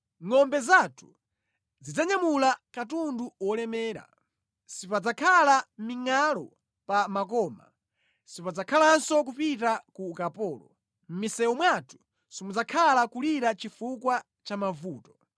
Ngʼombe zathu zidzanyamula katundu wolemera. Sipadzakhala mingʼalu pa makoma, sipadzakhalanso kupita ku ukapolo, mʼmisewu mwathu simudzakhala kulira chifukwa cha mavuto.